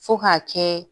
Fo k'a kɛ